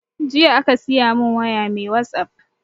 Jiya aka siya mun waya mai wasap